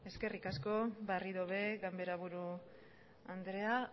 eskerrik asko berriro ere ganbaraburu andrea